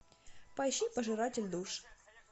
поищи пожиратель душ